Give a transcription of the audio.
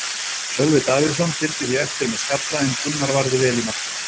Sölvi Davíðsson fylgdi því eftir með skalla en Gunnar varði vel í markinu.